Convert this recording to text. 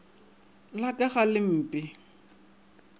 la ka ga le mpee